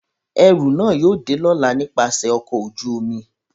Ẹru náa yóò de lọla nipasẹ ọkọ oju-omi.